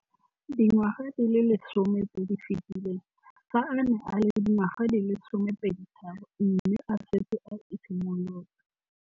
Dingwaga di le 10 tse di fetileng, fa a ne a le dingwaga di le 23 mme a setse a itshimoletse